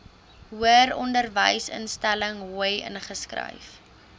hoëronderwysinstelling hoi ingeskryf